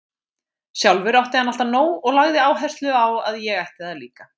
Sjálfur átti hann alltaf nóg og lagði áherslu á að ég ætti það líka.